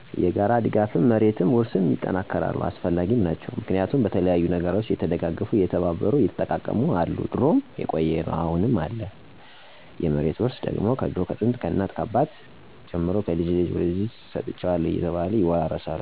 የጋራ ድጋፍም፣ የመሬት ውርስም ይጠናከራሉ አሰፈላጊም ናቸው። ምክንያቱም በተለያዩ ነገሮች እየተደጋገፉ፣ እየተባበሩ፣ እየተጠቃቀሙ አሉ ድሮም የቆየ ነው አሁንም አለ። የመሬት ውርስ ደግሞ ከድሮ ከጥንት፣ ከእናት ከአባት፣ ከልጅ ወደ ልጅ ይህን ሰጥቸሀለሁ በዚች ተዳደር እያሉ በመናገር ያወርሳሉ። በዘመናዊ መንገድ ደግሞ ዘመኑ በዋጀው በወረቀት በተለያዩ ማሰረጃዎች ወጣቱ እንዲለምድ እና እንዲማር እየተደረገ ነው።